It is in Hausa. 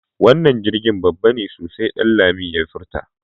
Wannan jirgi babba ne sosai Danladi ya furta.